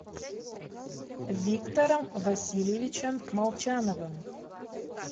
виктором васильевичем молчановым